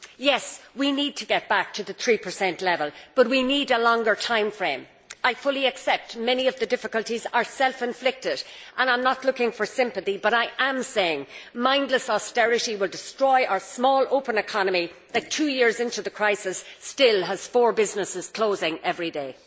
Yes, we need to get back to the 3 level, but we need a longer time frame. I fully accept that many of the difficulties are self inflicted and I am not looking for sympathy, but I am saying that mindless austerity will destroy our small, open economy that, two years into the crisis, still has four businesses closing every day.